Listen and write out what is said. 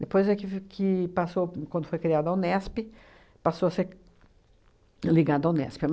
Depois é que f que passou quando foi criada a UNESP, passou a ser ligada à UNESP.